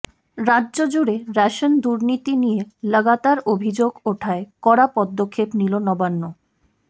রাজ্য জুড়ে রেশন দুর্নীতি নিয়ে লাগাতার অভিযোগ ওঠায় কড়া পদক্ষেপ নিল নবান্ন